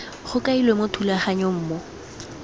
go kailwe mo thulaganyong mo